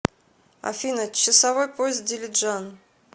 афина часовой пояс дилиджан